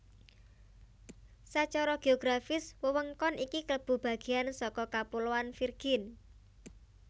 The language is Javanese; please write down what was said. Sacara geografis wewengkon iki klebu bagéyan saka Kapuloan Virgin